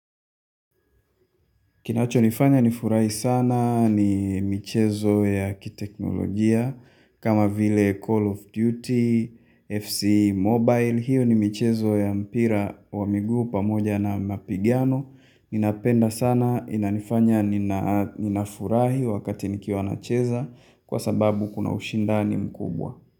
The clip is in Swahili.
Kinachonifanya nifurahi sana ni michezo ya kiteknolojia kama vile Call of Duty, FC Mobile. Hiyo ni michezo ya mpira wa miguu pamoja na mapigano. Ninapenda sana inanifanya ninafurahi wakati nikiwa nacheza kwa sababu kuna ushindani mkubwa.